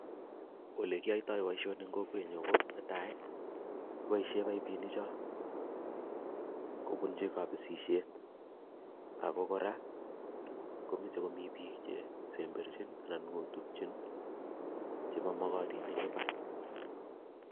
Ole kiyaitoi boisionik eng kokwenyu, ko netai, kepoishe paipinik cho kobunchi kapisisiet ako kora komeche komi biik chesemberchin anan kotutiin chemamakatin chemi imbaar.